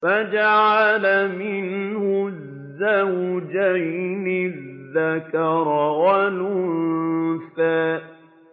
فَجَعَلَ مِنْهُ الزَّوْجَيْنِ الذَّكَرَ وَالْأُنثَىٰ